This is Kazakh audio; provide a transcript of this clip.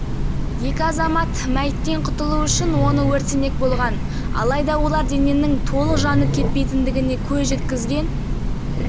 естеріңізге сала кетейік кісі өлімі қаратау ауданы қызылсай елді мекенінде маусым күні болған алкогольді ішімдікке сылқия